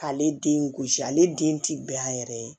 K'ale den gosi ale den ti bɛn a yɛrɛ ye